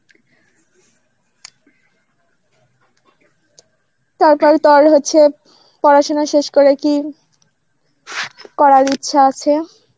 হচ্ছে, পড়াশোনা শেষ করে কি করার ইচ্ছা আছে?